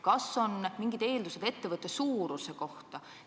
Kas on mingid eeldused ettevõtte suuruse kohta?